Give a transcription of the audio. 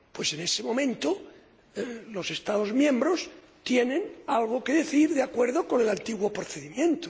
en ese momento los Estados miembros tienen algo que decir de acuerdo con el antiguo procedimiento.